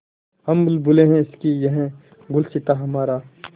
हम बुलबुलें हैं इसकी यह गुलसिताँ हमारा